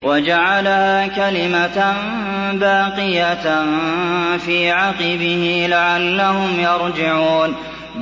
وَجَعَلَهَا كَلِمَةً بَاقِيَةً فِي عَقِبِهِ لَعَلَّهُمْ يَرْجِعُونَ